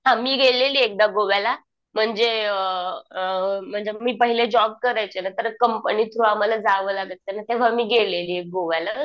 हां मी गेलेली ये एकदा गोव्याला म्हणजे अ अ म्हणजे मी पहिला जॉब करायचे ना तर कंपनी थ्रू आम्हाला जावं लागायचं. तेंव्हा मी गेलेली ये गोव्याला.